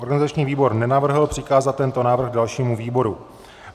Organizační výbor nenavrhl přikázat tento návrh dalšímu výboru.